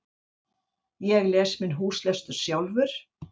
Ég les minn húslestur sjálfur